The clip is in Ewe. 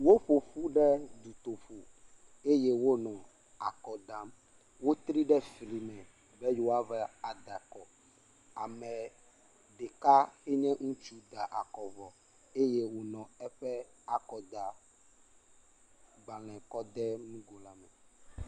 Woƒo ƒu ɖe dutoƒo eye wonɔ akɔ dam, wotri ɖe fli me be yewoava da akɔ. Ame ɖeka si nye ŋutsu da akɔ vɔ eye wònɔ eƒe akɔdagbalẽ kɔ de nugo la me.